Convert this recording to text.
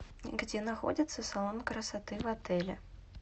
где находится салон красоты в отеле